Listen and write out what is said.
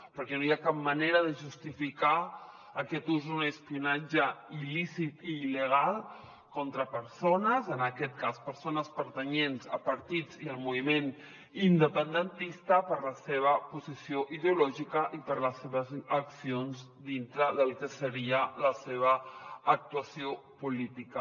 perquè no hi ha cap manera de justificar aquest ús un espionatge il·lícit i il·legal contra persones en aquest cas persones pertanyents a partits i al moviment independentista per la seva posició ideològica i per les seves accions dintre del que seria la seva actuació política